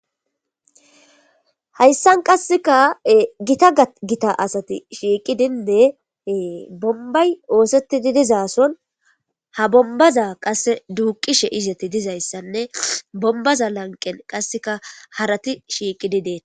Hayssan qasseka gita gita asati shiiqi dindeee bombay ooseti didizason ha bombaza qasse duuqishe izati dizayssanne bombaza lanqen qasseka harati shiiqi didee.